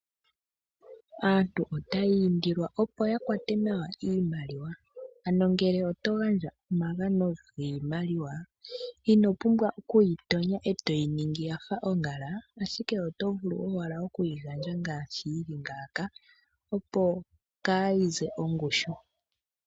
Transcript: Aantu otaya indilwa opo ya kwate nawa iimaliwa. Ano ngele oto gandja omagano giimaliwa, ino pumbwa okuyi tonya e toyi ningi yafa oongala ashike, oto vulu owala okuyi gandja ngaashi yi li ngaaka, opo kayi ze ongushu.